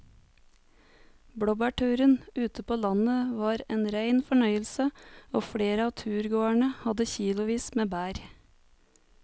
Blåbærturen ute på landet var en rein fornøyelse og flere av turgåerene hadde kilosvis med bær.